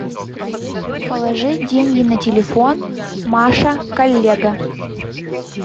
положить деньги на телефон маша коллега